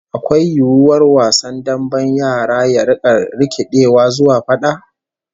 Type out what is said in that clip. Akwai yiwuwar wasan damben yara ya rika rikidewa zuwa fada?